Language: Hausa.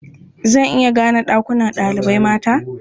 Zan iya gane ɗakunan ɗalibai mata.